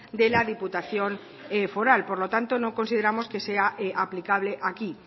de la diputación foral por lo tanto no consideramos que sea aplicable aquí